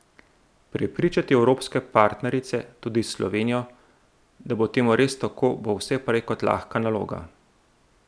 Prepričati evropske partnerice, tudi Slovenijo, da bo temu res tako, bo vse prej kot lahka naloga.